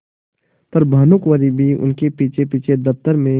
पर भानुकुँवरि भी उनके पीछेपीछे दफ्तर में